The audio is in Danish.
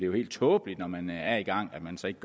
jo helt tåbeligt når man er i gang at man så ikke